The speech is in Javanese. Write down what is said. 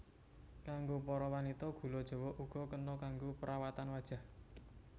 Kanggo para wanita gula jawa uga kena kanggo perawatan wajah